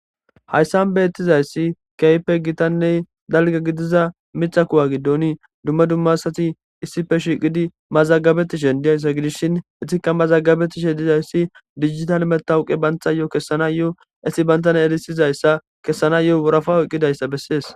hayssan beettizayssi keype gitanney dalga gidiza mitha kuwa giddon dumma dummasati issife shiqidi mazagabettishen diyayssa gidishshin itika mazagabetishe dizayssi dijital metawuqe bantha yo kessana yoo esi bantan erisizayssa kessana yoo worafaw eqqidayssa bessees